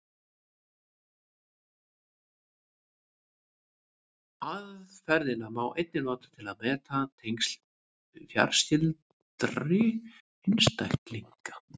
Aðferðina má einnig nota til að meta tengsl fjarskyldari einstaklinga.